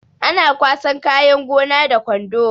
Ana kwasan kayan gona da kwando